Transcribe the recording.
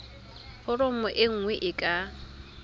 foromo e nngwe e ka